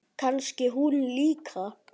Kannski hún líka?